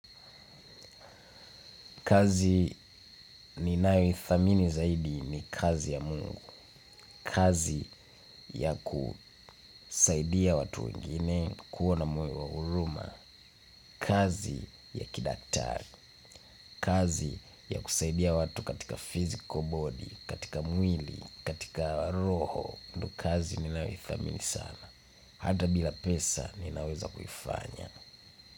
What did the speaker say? Kazi ninayoithamini zaidi ni kazi ya Mungu. Kazi ya kusaidia watu wengine kuwa na moyo wa huruma. Kazi ya kidatari. Kazi ya kusaidia watu katika physical body, katika mwili, katika roho. Kazi ninayoithamini sana. Hata bila pesa ninaweza kuifanya.